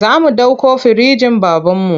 Za mu ɗauko firinjin babanmu.